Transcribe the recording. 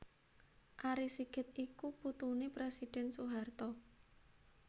Ari Sigit iku putuné Presiden Soeharto